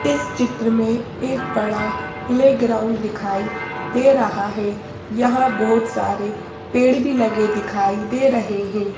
इस चित्र में एक बड़ा प्लेग्राउंड दिखाई दे रहा है यहांबहुत सारे पेड़ भीलगे दिखाई दे रही हैं।